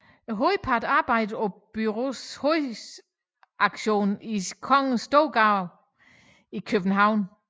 Hovedparten arbejder på bureauets hovedredaktion i Store Kongensgade i København